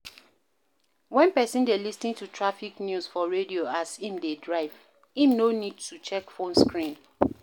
when person dey lis ten to traffic news for radio as im dey drive, im no need to check phone screen